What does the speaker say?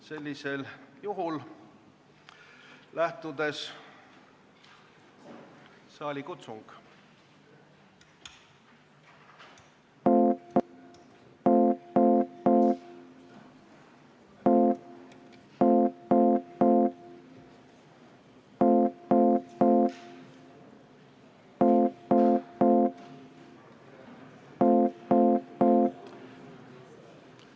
Sellisel juhul annan saalikutsungi.